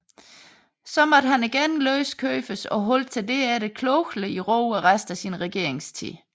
Atter måtte han løskøbes og holdt sig herefter klogelig i ro resten af sin regeringstid